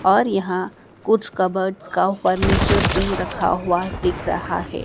और यहां कुछ कपबोर्ड्स का फर्नीचर भी रखा हुआ दिख रहा है।